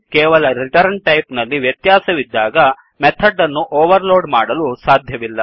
ಕೇವಲ return type ನಲ್ಲಿ ವ್ಯತ್ಯಾಸವಿದ್ದಾಗ ಮೆಥಡ್ ಅನ್ನು ಓವರ್ ಲೋಡ್ ಮಾಡಲು ಸಾಧ್ಯವಿಲ್ಲ